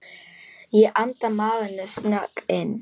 Ég anda maganum snöggt inn.